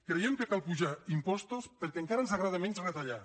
creiem que cal apujar impostos perquè encara ens agrada menys retallar